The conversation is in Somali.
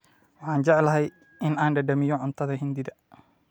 Waxaan jeclahay in aan dhadhamiyo cuntada Hindida